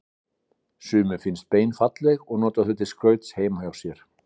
Sumum finnast bein falleg og nota þau til skrauts heima hjá sér.